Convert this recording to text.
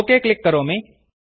okay click करोमि